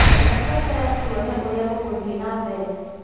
Reke tweterere tuone ũrĩa gũgũthii na mbere